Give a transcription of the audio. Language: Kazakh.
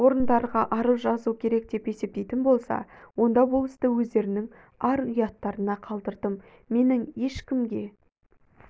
орындарға арыз жазу керек деп есептейтін болса онда бұл істі өздерінің ар-ұяттарына қалдырдым менің ешкімге